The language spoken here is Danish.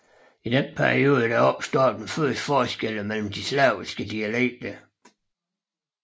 I denne periode opstår de første forskelle mellem de slaviske dialekter